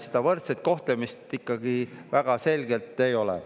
Seda võrdset kohtlemist ikkagi väga selgelt ei ole.